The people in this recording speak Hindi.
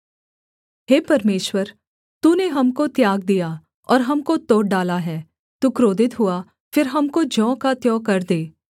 हे परमेश्वर तूने हमको त्याग दिया और हमको तोड़ डाला है तू क्रोधित हुआ फिर हमको ज्यों का त्यों कर दे